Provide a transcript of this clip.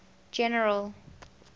general